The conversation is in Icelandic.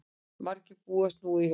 Margir bætast nú í hópinn